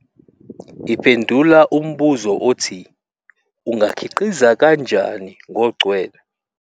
Iphendula umbuzo othi "ungakhiqiza kanjani" ngogcwele.